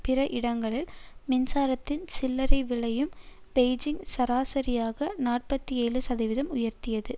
பிற இடங்களில் மின்சாரத்தின் சில்லறை விலையையும் பெய்ஜிங் சராசரியாக நாற்பத்தி ஏழு சதவீதம் உயர்த்தியது